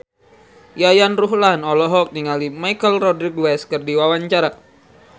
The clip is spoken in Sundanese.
Yayan Ruhlan olohok ningali Michelle Rodriguez keur diwawancara